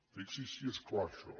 fixi’s si és clar això